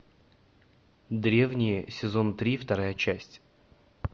древние сезон три вторая часть